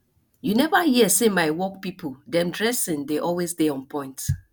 you neva hear sey my work pipo dem dressing dey always dey onpoint